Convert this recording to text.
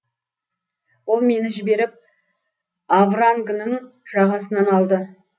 ол мені жіберіп аврангның жағасынан алды